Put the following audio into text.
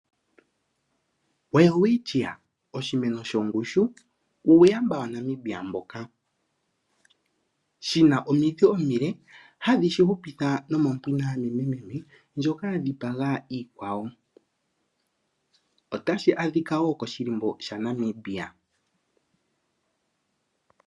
Welwitchia, oshimeno shongushu, uuyamba wa Namibia mboka. Shi na omidhi omile, hashi dhi hupitha nomombuga yaNamibi, ndjoka ya dhipaga iikwawo. Otashi adhika wo nokoshilimbo shaNamibia.